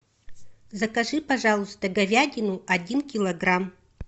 закажи пожалуйста говядину один килограмм